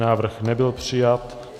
Návrh nebyl přijat.